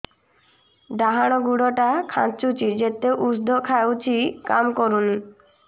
ଡାହାଣ ଗୁଡ଼ ଟା ଖାନ୍ଚୁଚି ଯେତେ ଉଷ୍ଧ ଖାଉଛି କାମ କରୁନି